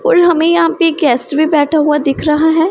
और हमें यहां पे गेस्ट भी बैठा हुआ दिख रहा है।